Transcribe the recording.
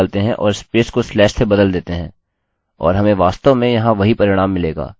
और हमें वास्तव में यहाँ वही परिणाम मिलेगा